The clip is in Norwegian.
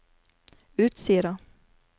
Utsira